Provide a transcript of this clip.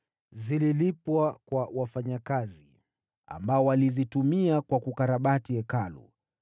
zililipwa kwa wafanyakazi, ambao walizitumia kwa kukarabati Hekalu.